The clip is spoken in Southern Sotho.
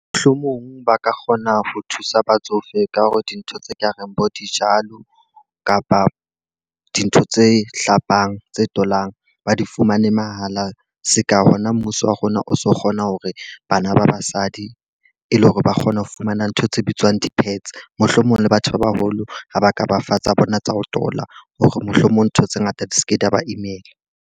Mohlomong ba ka kgona ho thusa batsofe ka hore dintho tse ka reng bo dijalo kapa dintho tse hlapang, tse tolang ba di fumane mahala. Se ka hona mmuso wa rona rona o so kgona hore bana ba basadi e le hore ba kgone ho fumana ntho tse bitswang di-pads. Mohlomong le batho ba baholo ha ba ka ba fa tsa bona tsa ho tola hore mohlomong ntho tse ngata di se ke di a ba imela.